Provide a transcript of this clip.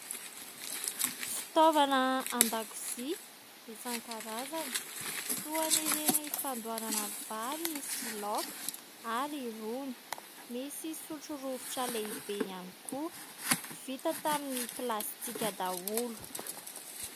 Fitaovana an-dakozia isankarazany toa an'ireny fandoharana vary sy laoka ary rony, misy sotrorovitra lehibe ihany koa vita tamin'ny plastika daholo.